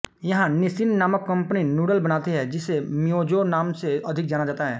यहाँ निसिन नामक company noodle बनाती है जिसे मिओजो नाम से अधिक जाना जाता है